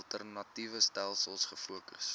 alternatiewe stelsels gefokus